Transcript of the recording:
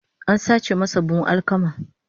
An sace masa buhun alkama